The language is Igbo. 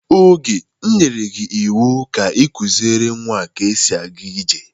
Oge, m nyerey gị iwu ka ị kuziere nwa ka esi aga ije!